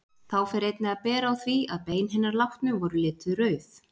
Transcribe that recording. Þá fer einnig að bera á því, að bein hinna látnu voru lituð rauð.